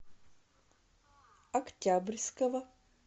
октябрьского